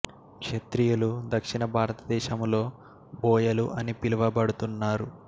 క్షత్రియులు దక్షిణ భారతదేశములో బోయలు అని పిలువ బడు తున్నారు